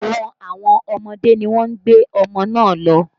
Ẹ̀wọ̀n àwọn ọmọdé ni wọ́n gbé ọmọ náà lọ